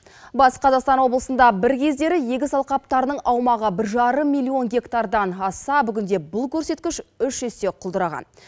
батыс қазақстан облысында бір кездері егіс алқаптарының аумағы бір жарым милион гектардан асса бүгінде бұл көрсеткіш үш есе құлдыраған